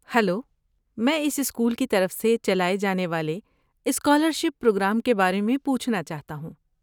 Hello, میں اس school کی طرف سے چلائے جانے والے اسکالرشپ پروگرام کے بارے میں پوچھنا چاہتا ہوں۔